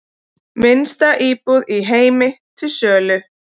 Minnsta íbúð í heimi til sölu